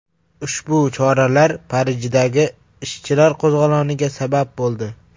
Ushbu choralar Parijdagi ishchilar qo‘zg‘oloniga sabab bo‘ldi.